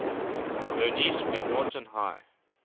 bernice macnaughton high